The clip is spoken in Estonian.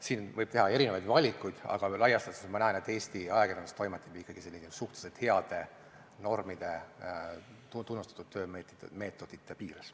Siin võib teha erinevaid valikuid, aga laias laastus ma näen, et Eesti ajakirjandus toimetab ikkagi suhteliselt heade normide, tunnustatud töömeetodite piires.